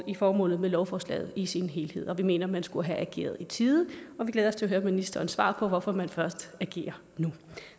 i formålet med lovforslaget i sin helhed vi mener at man skulle have ageret i tide vi glæder os til at høre ministerens svar på hvorfor man først agerer nu